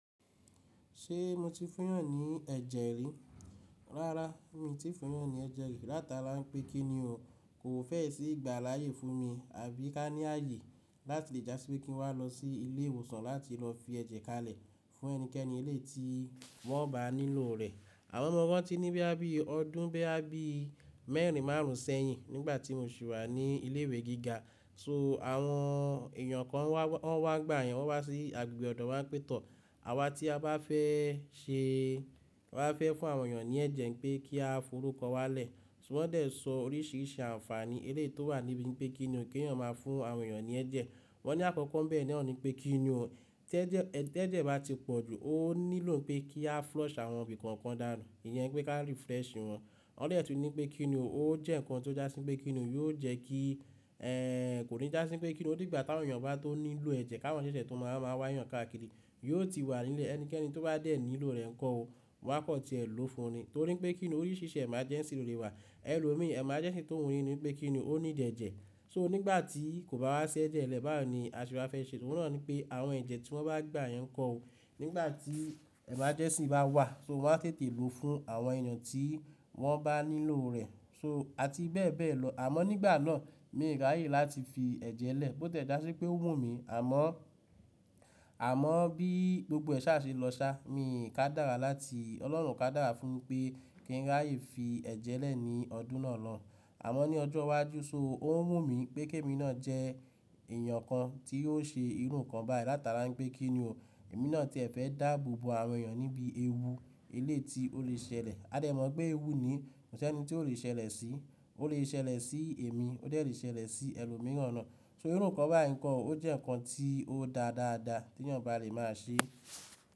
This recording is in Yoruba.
Ṣé mo ti fún yàn ní ẹ̀jẹ̀ rí? Rárá, mi tí fún yàn ní ẹ̀jẹ̀ rí látara pé kí ni o kò fẹ́ ìṣí ìgbà láyé fún mi àbí ká ní ààyè láti dá sí pé kí n wá lọ sí ilé ìwòsàn láti lọ fi ẹ̀jẹ̀ kalẹ̀ fún ẹnikẹ́ni eléyi tí wọ́n bá nílò rẹ̀. Àmó ọmọ ọwọ́ ti ní bí i ọdún bí i mẹ́rin márùn ún sẹ́yìn nígbà tí mo sì wà ní ilé ìwé gíga. So àwọn èèyàn kan wọ́n wá nígbàyen wọ́n wá sí agbègbè ọ̀dọ̀ wọ́n pẹ̀ tọ́. Àwa tí a bá fẹ́ ṣe, wá fẹ́ fún àwọn èèyàn ní ẹ̀jẹ̀ pé kí a forúkọ wá lẹ̀. So wọ́n dẹ̀ sọ oríṣìíríṣìí àǹfààní eléyii tó wà níbi pé kí ni ò kè yàn máa fún àwọn èèyàn ní ẹ̀jẹ̀. Wọ́n ní àkọ́kọ́ bẹ́ẹ̀ ni wọ́n ní pé kí ni o, tẹ́ẹ̀jẹ̀ bá ti pọ̀ jù ó nílò pé kí a flush àwọn ibì kọ̀ọ̀kan dànù. Ìyẹn pé ká refresh wọn. Wọ́n dè tún ní pé kí ni o, ó jẹ́ nǹkan tó dá sí pé kí ni o yóò jẹ́ kí, ẹ́, kò ní dá sí pé kí ni o. Ó di ìgbà táwọn èèyàn bá tó nílò ẹ̀jẹ̀ ká wọn ṣẹ́ṣẹ́ tó máa wá yàn káàkiri. Yóò ti wà nílé ẹnikẹ́ni tó bá dé nílò rẹ̀ nkọ ó, wọ́n á kọ́ tí ẹ ló fún ni. Torí pé kí ni òní ṣíṣẹ́ emergency ló lè wà. Ẹ̀lò mi emergency tó òhún ní ni pé kí ni ó ní jẹ̀ẹ́jẹ̀. So nígbà tí kò bá wá ṣe ẹ̀jẹ̀ lẹ́bàá ni a sì máa fẹ́ ṣe. So wọ́n náà ní pé àwọn ẹ̀jẹ̀ tí wọ́n bá gba yẹn kọ́ o nígbà tí emergency bá wà so wọ́n á tètè lò fún àwọn èèyàn tí wọ́n bá nílò rẹ̀. So a ti bẹ́ẹ̀ bẹ́ẹ̀ lọ. Àmọ́ nígbà náà mi ò ráyè láti fi ẹ̀jẹ̀ lẹ̀ bó tẹ́ẹ̀ dá sí pé ó wù mí. Àmọ́, àmọ́ bí gbogbo ẹ sá ṣe lọ sá mi kádára láti ọlọ́run kádára fún pé kí n ráyè fi ẹ̀jẹ̀ lẹ̀ ní ọdún náà lọ. Àmọ́ ní ọjọ́ iwájú so ó wù mí pé kí èmi náà jẹ́ èèyàn kan tí yóò ṣe irú nǹkan báyìí látara pé kí ni o, èmi náà tí ẹ fẹ́ dáàbò bo àwọn èèyàn níbí ewu eléyè tí ó lè ṣẹlẹ̀. A dẹ̀ mọ̀ pé ewu ni kò sí ẹni tí ó lè ṣẹlẹ̀ sí. Ó lè ṣẹlẹ̀ sí èmi, ó dẹ̀ lè ṣẹlẹ̀ sí ẹlòmíràn náà. So irú nǹkan báyìí nkọ ó jẹ́ nǹkan tí ó dáa dáadáa tí èèyàn bá lè máa ṣe.